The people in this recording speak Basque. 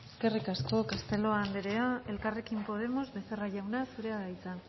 eskerrik asko castelo anderea elkarrekin podemos becerra jauna zurea da hitza